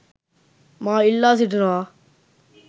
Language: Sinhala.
මා ඉල්ලා සිටිනවා.